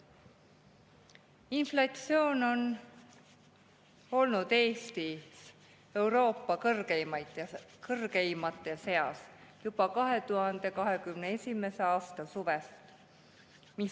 Inflatsioon on olnud Eestis Euroopa kõrgeimate seas juba 2021. aasta suvest.